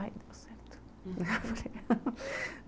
Aí deu certo.